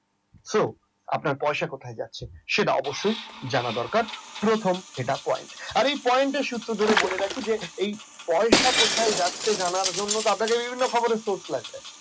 so আপনার পয়সা কোথায় যাচ্ছে জানা দরকার এটাই প্রথম point আর এই point এর সূত্র ধরেই বলে রাখি যে এই পয়সা কোথায় যাচ্ছে এটা জানার জন্য তাদেরকে